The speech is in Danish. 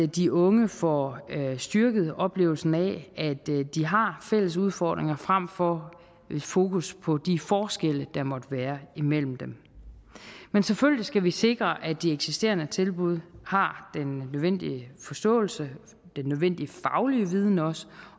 de unge får styrket oplevelsen af at de har fælles udfordringer frem for fokus på de forskelle der måtte være imellem dem men selvfølgelig skal vi sikre at de eksisterende tilbud har den nødvendige forståelse den nødvendige fagligheden også